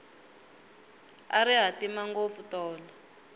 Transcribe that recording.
a ri hatima ngopfu tolo